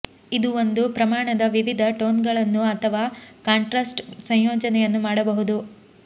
ಇದು ಒಂದು ಪ್ರಮಾಣದ ವಿವಿಧ ಟೋನ್ಗಳನ್ನು ಅಥವಾ ಕಾಂಟ್ರಾಸ್ಟ್ ಸಂಯೋಜನೆಯನ್ನು ಮಾಡಬಹುದು